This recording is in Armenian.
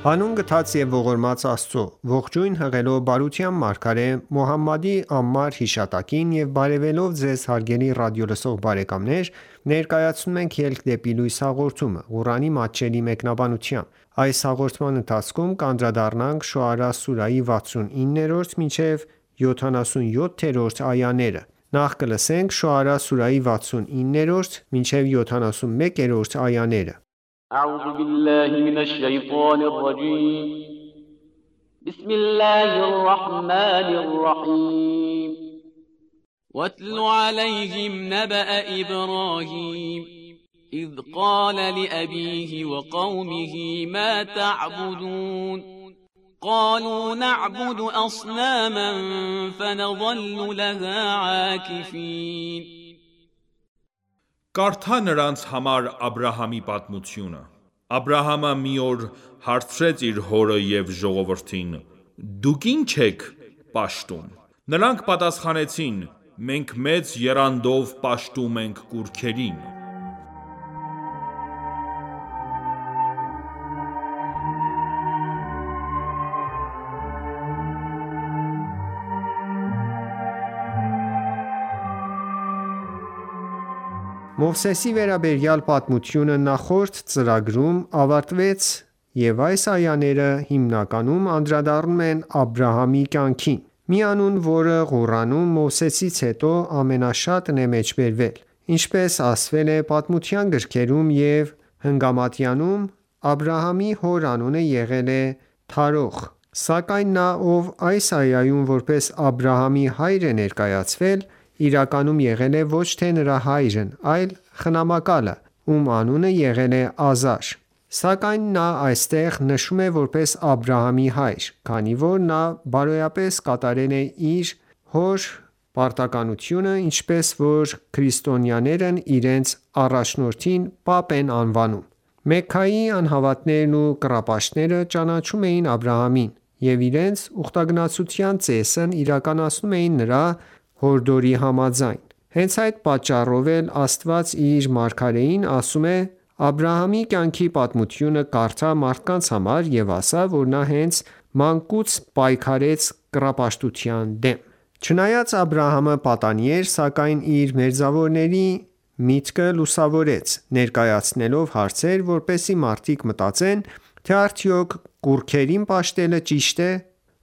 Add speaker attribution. Speaker 1: Հանուն գթած և ողորմած Աստծո:Ողջույն հղելով բարության մարգարե Մոհամմադի անմար հիշատակին եւ բարեւելով Ձեզ հարգելի ռադիոլսող բարեկամներ ներկայացնում ենք «Ելք դեպի լույս» հաղորդումը, Ղուրանի մատչելի մեկնաբանությամբ: Շոարա սուրահի
Speaker 2: 69-71-րդ այաներ وَاتْلُ عَلَیْهِمْ نَبَأَ إِبْرَاهِیمَ إِذْ قَالَ لِأَبِیهِ وَقَوْمِهِ مَا تَعْبُدُونَ قَالُوا نَعْبُدُ أَصْنَامًا فَنَظَلُّ لَهَا عَاکِفِینَ
Speaker 3: Կարդա նրանց համար Աբրահամի պատմությունը: Աբրահամը մի օր հարցրեց իր հորը և ժողովրդին`Դուք ինչ եք պաշտում: Նրանք պատասխանեցին. մենք մեծ եռանդով պաշտում ենք կուռքերին:
Speaker 1: Մովսեսի վերաբերյալ պատմությունը նախորդ ծրագրում ավարտվեց և այս այաները հիմնականում անդրադառնում են Աբրահամի կյանքին: Մի անուն, որը Ղուրանում Մովսեսից հետո ամենաշատն է մեջբերվել: Ինչպես ասվել է պատմության գրքերում և Հնգամատյանում, Աբրահամի հոր անունը եղել է Թարոխ: Սակայն նա, ով այս այայում որպես Աբրահամի հայր է ներկայացվել, իրականում եղել է ոչ թե նրա հայրն այլ խնամակալը, ում անունը եղել է Ազար: Սակայն նա այստեղ նշվում է որպես Աբրահամի հայր, քանի որ նա բարոյապես կատարել է հոր պարտականությունը, ինչպես որ քրիստոնյաներն իրենց առաջնորդին Պապ են անվանում: Մեքքայի անհավատներն ու կռապաշտները ճանաչում էին Աբրահամին և իրենց ուխտագնացության ծեսն իրականացնում էին նրա հորդորի համաձայն: Հենց այդ պատճառով էլ Աստված իր մարգարեին ասում է. «Աբրահամի կյանքի պատմությունը կարդա մարդկանց համար ու ասա, որ նա հենց մանկուց պայքարեց կռապաշտության դեմ»: Չնայած Աբրահամը պատանի էր, սակայն իր մերձավորների միտքը լուսավորեց, ներկայացնելով հարցեր, որպեսզի մարդիկ մտածեն, թե արդյոք կուռքերին պաշտելը ճի՞շտ է: